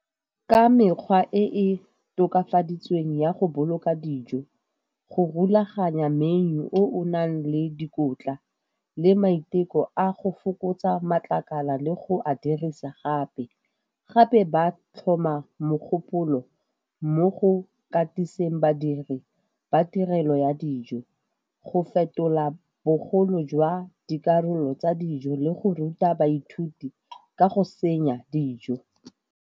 Ka mekgwa e e tokafaditsweng ya go boloka dijo, go rulaganya menu o o nang le dikotla le maiteko a go fokotsa matlakala le go a dirisa gape. Gape ba tlhoma mogopolo mo go katiseng badiri ba tirelo ya dijo, go fetola bogolo jwa dikarolo tsa dijo le go ruta baithuti ka go senya dijo.